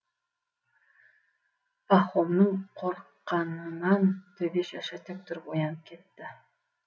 пахомның қорыққанынан төбе шашы тік тұрып оянып кетті